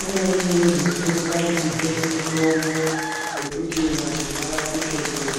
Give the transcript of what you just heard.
imweni yeizotidetsera kutipe mitombo wekuti vantu varapike ndiwo.